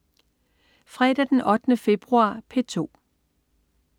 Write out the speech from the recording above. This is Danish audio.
Fredag den 8. februar - P2: